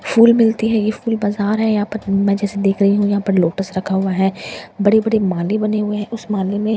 फूल मिलती है ये फूल बाजार है यहाँ पर मैं जैसे देख रही हूँ यहां पर लोटस रखा हुए हैं बड़े बड़े माले बने हुए हैं उस माले में --